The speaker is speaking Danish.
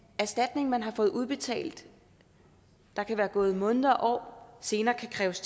erstatning man har fået udbetalt der kan være gået måneder og år senere kan kræves